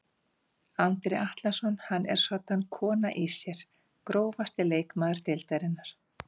Andri Atlason hann er soddan kona í sér Grófasti leikmaður deildarinnar?